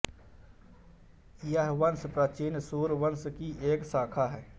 यह वंश प्राचीन सूर्य वंश की एक शाखा है